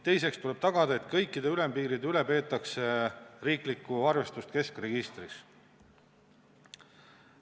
Teiseks tuleb tagada, et kõikide ülempiiride üle peetaks riiklikku arvestust keskregistris.